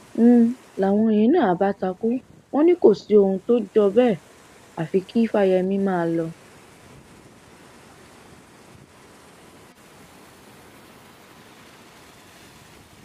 n láwọn yẹn na àbá takú wọn ní k òsì ọhún t ọjọ bẹẹ àfi kí fáyemí máa lọ